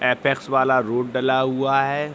Apex वाला road डला हुआ है।